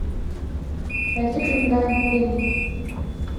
найди криминальный фильм